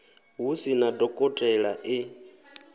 hu sina dokotela e g